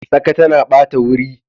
Tsaka tana bata wuri.